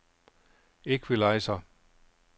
equalizer